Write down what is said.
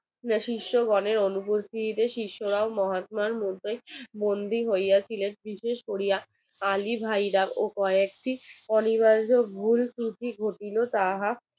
শিষ্য গনের অনুপস্থিতিতে শিশ্যরাও মহাতমার মধ্যে বন্দী হইয়াছিলেন বিশেষ কোরিয়া আলী ভাইয়েরা কয়েকটি অনিবার্য ভুল ত্রুটি ঘটিল তাহা